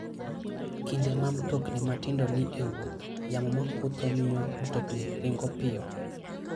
Kinde ma mtokni matindo ni e wuoth, yamo ma kutho miyo mtoknigo ringo piyo.